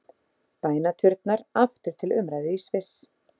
Bænaturnar aftur til umræðu í Sviss